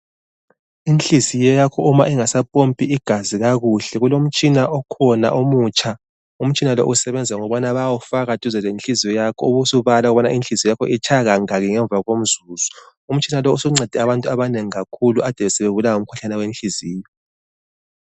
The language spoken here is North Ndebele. Inhliziyo yakho uma ingasampompi igazi kakuhle, kulomtshina okhona omutsha, umtshina lo usebenza ngokubana bayawufaka duze lenhliziyo yakho ubusubala ukubana inhliziyo yakho itshaya kangaki ngemva komzuzu. Umtshina lowu usuncede abantu abanengi kakhulu ade sebebulawa ngumkhuhlane wenhliziyo.